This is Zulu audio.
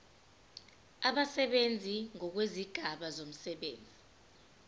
abasebenzi ngokwezigaba zomsebenzi